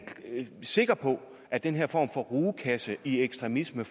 sikker på at den her form for rugekasse i ekstremisme